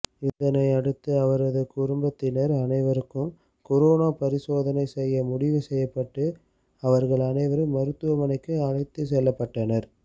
இதனை அடுத்து அவரது குடும்பத்தினர் அனைவருக்கும் கொரோனா பரிசோதனை செய்ய முடிவு செய்யப்பட்டு அவர்கள் அனைவரும் மருத்துவமனைக்கு அழைத்துச் செல்லப்பட்டனர்